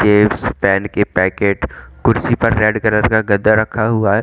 Gets pen के packet कुर्सी पर रेड कलर का गद्दा रखा हुआ है।